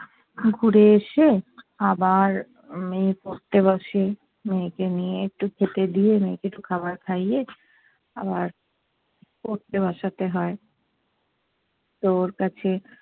ঘুরে এসে আবার মেয়ে পড়তে বসে। মেয়েকে নিয়ে একটু খেতে দিয়ে মেয়েকে একটু খাবার খাইয়ে আবার পড়তে বসাতে হয়। তো ওর কাছে